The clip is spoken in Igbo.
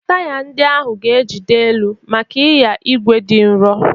Taya ndị ahụ ga-ejide elu maka ịnya igwe dị nro.